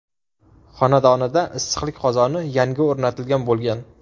xonadonida issiqlik qozoni yangi o‘rnatilgan bo‘lgan.